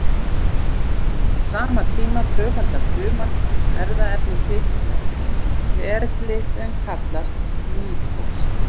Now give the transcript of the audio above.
Á sama tíma tvöfaldar fruman erfðaefni sitt með ferli sem að kallast mítósa.